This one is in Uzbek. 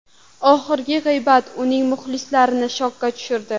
Oxirgi g‘iybat uning muxlislarini shokka tushirdi.